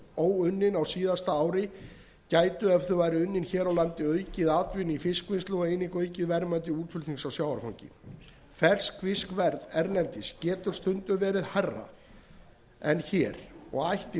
óunnin á síðasta ári gætu ef þau væru unnin hér á landi aukið atvinnu í fiskvinnslu og einnig aukið verðmæti útflutnings á sjávarfangi ferskfiskverð erlendis getur stundum verið hærra en hér og ætti